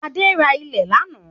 Adé ra ilẹ̀ lánàá